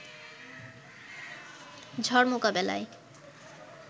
ঝড় মোকাবেলায়